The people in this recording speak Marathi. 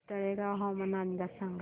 तळेगाव हवामान अंदाज सांगा